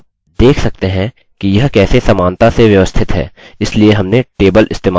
आप देख सकते हैं कि यह कैसे समानता से व्यवस्थित है इसलिए हमने टेबल इस्तेमाल किया